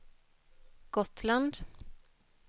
Gotland